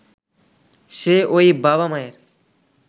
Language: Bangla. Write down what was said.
সে ঐ বাবা-মায়ের